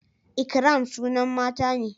ikram sunan mata ne